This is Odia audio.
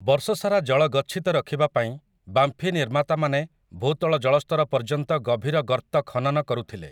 ବର୍ଷସାରା ଜଳ ଗଚ୍ଛିତ ରଖିବା ପାଇଁ ବାମ୍ଫୀ ନିର୍ମାତାମାନେ ଭୂତଳ ଜଳସ୍ତର ପର୍ଯ୍ୟନ୍ତ ଗଭୀର ଗର୍ତ୍ତ ଖନନ କରୁଥିଲେ ।